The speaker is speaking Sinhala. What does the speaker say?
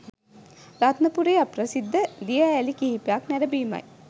රත්නපුරේ අප්‍රසිද්ධ දිය ඇලි කිහිපයක් නැරඹීමයි